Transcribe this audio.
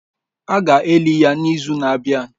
A ga-eli ya n'izu na-abịa.